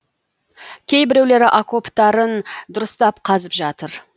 кейбіреулері окоптарын дұрыстап қазып жатыр